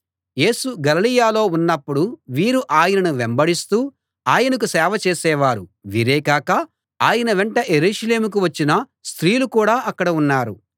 యేసు గలిలయలో ఉన్నపుడు వీరు ఆయనను వెంబడిస్తూ ఆయనకు సేవ చేసేవారు వీరే కాక ఆయన వెంట యెరూషలేముకు వచ్చిన స్త్రీలు కూడా అక్కడ ఉన్నారు